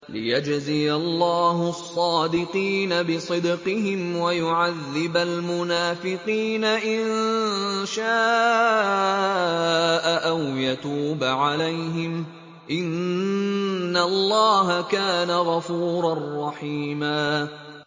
لِّيَجْزِيَ اللَّهُ الصَّادِقِينَ بِصِدْقِهِمْ وَيُعَذِّبَ الْمُنَافِقِينَ إِن شَاءَ أَوْ يَتُوبَ عَلَيْهِمْ ۚ إِنَّ اللَّهَ كَانَ غَفُورًا رَّحِيمًا